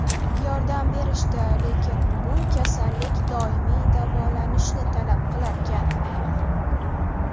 Yordam berishdi, lekin bu kasallik doimiy davolishni talab qilarkan.